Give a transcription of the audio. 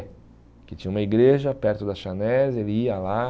Porque tinha uma igreja perto da chanés, ele ia lá.